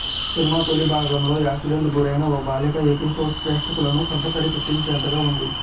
cinema తొలి భాగంలో accident గురైన ఓ బాలిక ఎపిసోడ్స్ ప్రేక్షకులను కంటతడి పెట్టించేతగా ఉంది